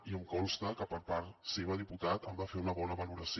i em consta que per part seva diputat se’n va fer una bona valoració